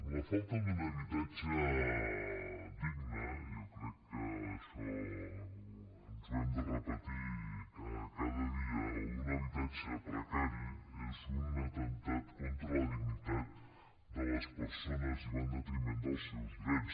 la falta d’un habitatge digne jo crec que això ens ho hem de repetir cada dia o un habitatge precari és un atemptat contra la dignitat de les persones i va en detriment dels seus drets